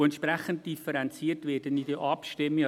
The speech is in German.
Entsprechend differenziert werde ich auch abstimmen.